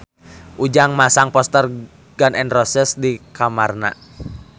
Ujang masang poster Gun N Roses di kamarna